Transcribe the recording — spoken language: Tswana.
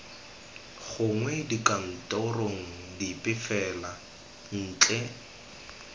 gongwe dikantorong dipe fela ntle